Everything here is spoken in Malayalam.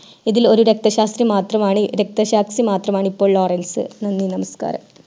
ഇതിൽ ഒരു രക്തശാസ്ത്രി മാത്രമാണ് രക്തശാസ്ത്രി മാത്രമാണ് ഇപ്പോൾ ലോറൻസ്